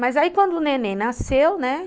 Mas aí quando o neném nasceu, né?